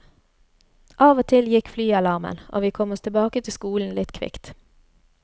Av og til gikk flyalarmen, og vi kom oss tilbake til skolen litt kvikt.